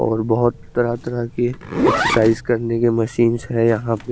और बोहोत तहरा तहरा के एक्सोसाईस करने के मशीनस है यहा पे--